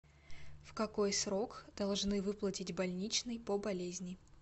в какой срок должны выплатить больничный по болезни